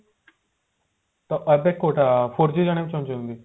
ଏବେ କୋଉଟା four G ଜାଣିବାକୁ ଚାହୁଁଛନ୍ତି